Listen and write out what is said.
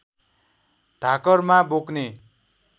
ढाकरमा बोक्ने